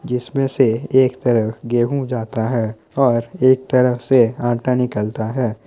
जिसमें से एक तरफ गेहूँ जाता है और एक तरफ से आटा निकलता है।